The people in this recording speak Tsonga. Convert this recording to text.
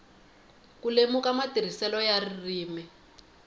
ku lemuka matirhiselo ya ririmi